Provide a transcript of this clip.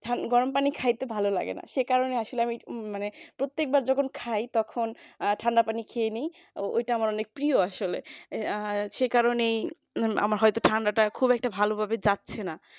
গরম পানি খাইতে ভালো লাগেনা সে কারণে আসলে আমি মানে প্রত্যেকবার যখন খাই তখন ঠান্ডা পানি খেয়েনি ওইটা আমার অনেক প্রিয় আসলে সেই কারণে আমার হয়তো ঠান্ডাটা খুব একটা ভালোভাবে যাচ্ছে না